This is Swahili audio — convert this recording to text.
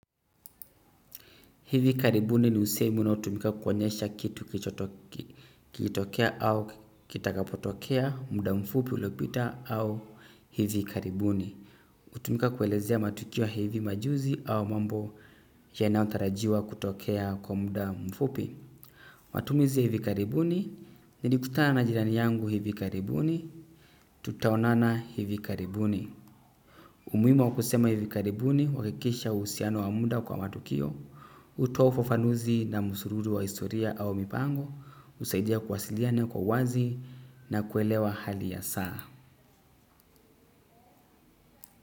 Hivi karibuni ni usemi unaotumika kuonyesha kitu kilichotokea au kitakapotokea muda mfupi uliopita au hivi karibuni. Utumika kuelezea matukio ya hivi majuzi au mambo yanayo tarajiwa kutokea kwa muda mfupi. Matumizi ya hivi karibuni nilikutana na jirani yangu hivi karibuni tutaonana hivi karibuni. Umuima wakusema hivi karibuni huakikisha usiano wa muda kwa matukio. Utoa ufafanuzi na musururu wa historia au mipango usaidia kwasiliane kwa uwazi na kuelewa hali ya saa.